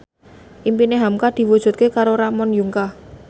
impine hamka diwujudke karo Ramon Yungka